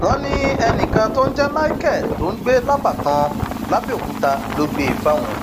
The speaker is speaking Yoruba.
wọn ní ẹnìkan tó ń jẹ michael tó ń gbé lábàtàn làbẹọkúta ló gbé e fáwọn